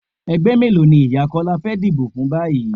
Ẹgbẹ́ mélòó ni ìyá Kọ́lá fẹ́ díbó fún báyìí?